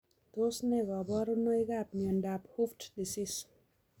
Tos ne kaborunoikab miondop hooft disease?